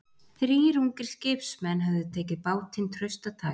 Þrír ungir skipsmenn höfðu tekið bátinn traustataki.